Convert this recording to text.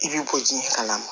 I b'i kɔji kalan na